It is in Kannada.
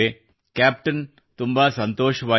ಕ್ಯಾಪ್ಟನ್ ತುಂಬಾ ಸಂತೋಷವಾಯಿತು